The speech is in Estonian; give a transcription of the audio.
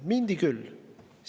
Minnakse küll!